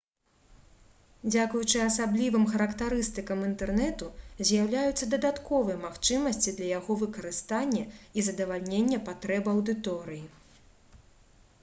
дзякуючы асаблівым характарыстыкам інтэрнэту з'яўляюцца дадатковыя магчымасці для яго выкарыстання і задавальнення патрэб аўдыторыі